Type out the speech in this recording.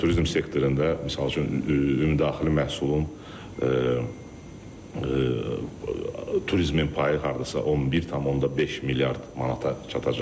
Turizm sektorunda, misal üçün, ümumdaxili məhsulun turizmin payı hardasa 11,5 milyard manata çatacaq.